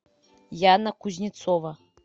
яна кузнецова